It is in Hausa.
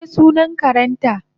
mene sunan karenta?